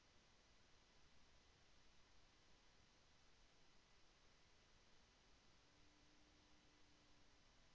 கட்சியானது கட்சியின் நம்பகத்தன்மை ஆபத்தில் உள்ளது என்று அது எடுத்த முடிவை காரணம் காட்டியது